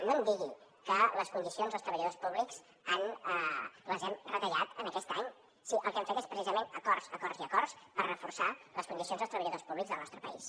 no em digui que les condicions als treballadors públics les hem retallat aquest any si el que hem fet és precisament acords acords i acords per reforçar les condicions dels treballadors públics del nostre país